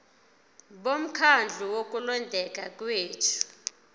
bomkhandlu wokulondeka kwethu